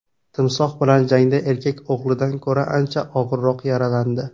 Timsoh bilan jangda erkak o‘g‘lidan ko‘ra ancha og‘irroq yaralandi.